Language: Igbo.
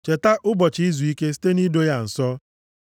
Cheta ụbọchị izuike site nʼido ya nsọ.